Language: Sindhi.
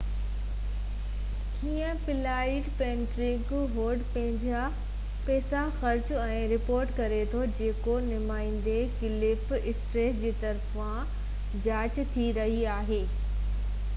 ڪيئن پلانڊ پئرينٽ هوڊ پنهنجا پئسا خرچ ۽ رپورٽ ڪري ٿو جيڪو نمائندي ڪلف اسٽرنس جي طرفان جاچ ٿي رهي آهي ۾ دير جي ڪري ڪومين جي پاليسي پلانڊ پئرينٽ هوڊ کي نا اهل قرار ڏنو